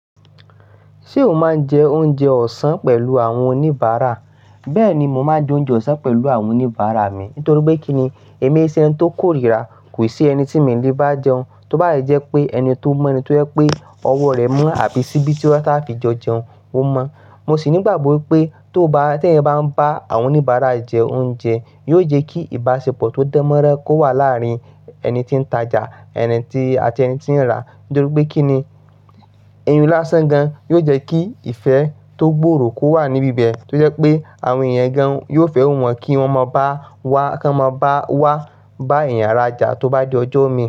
Ṣé o máa ń jẹ oúnjẹ ọ̀sán pẹ̀lú àwọn oníbàárà? Bẹ́ẹ̀ni, mo máa ń jẹ oúnjẹ ọ̀sán pẹ̀lú àwọn oníbàárà mi. Nítorí pé kí ni èmi èéṣe ẹni tó kórìíra, kò sí ẹni tí mi lè bá jẹun. Tóbá yé jẹ́ pé ẹni tó mọ ẹni tó jẹ́ pé ọwọ́ rẹ̀ mọ́ àbí síbí tí ó ṣàfi jọ jẹun, o mọ. Mo sì ni'gbàgbọ́ wípé tó bá, tí èèyàn bá ń bá àwọn oníbàárà ẹ̀ jẹ oúnjẹ, yóò jẹ́ kí ìbáṣepọ̀ tó dánmọ́nrán kó wà láàrin ẹni tí ń tajà, ẹni tí, àti ẹni tí ń rà. Nítorí pé kí ni ẹyiun lásán gan-an yóò jẹ́ kí ìfẹ́ tó gbòòrò kó wà níbí bẹ̀. Tó jẹ́ pé àwọn èèyàn gan-an yóò fẹ́ wún wọ́n kí wọ́n mọ bá wá, kí wọ́n mọ bá wá bá ẹ̀yàn arájà tó bá di ọjọ́ omi.